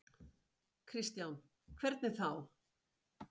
Kristján: Hvernig þá?